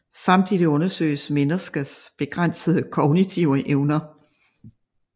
Samtidig undersøges menneskers begrænsede kognitive evner